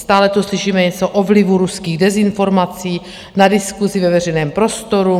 Stále tu slyšíme něco o vlivu ruských dezinformací na diskusi ve veřejném prostoru.